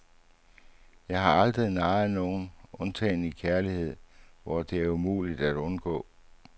Jeg har aldrig narret nogen, undtagen i kærlighed, hvor det er umuligt at undgå.